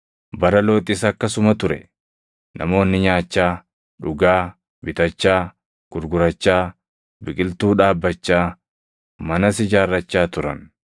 “Bara Looxis akkasuma ture; namoonni nyaachaa, dhugaa, bitachaa, gurgurachaa, biqiltuu dhaabbachaa, manas ijaarrachaa turan.